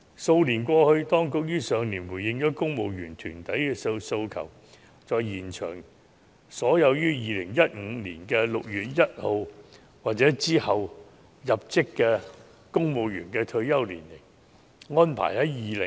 數年過去了，去年當局終於回應公務員團隊的訴求，延長所有於2015年6月1日或之後入職的公務員的退休年齡。